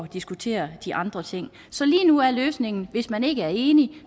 diskutere de andre ting så lige nu er løsningen at hvis man ikke er enig